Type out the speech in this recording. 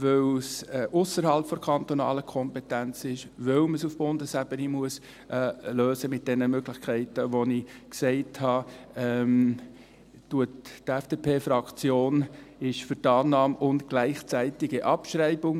Weil es ausserhalb der kantonalen Kompetenz liegt und man es auf Bundesebene mit den von mir erwähnten Möglichkeiten lösen muss, unterstützt die FDP die Annahme und gleichzeitige Abschreibung.